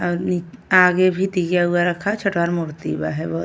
और नि आगे भी दिया उया रखा है छोटहन मूर्ति बा है बोहोत।